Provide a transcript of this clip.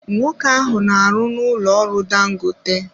Nwoke ahụ na-arụ n'ụlọ ọrụ dangote.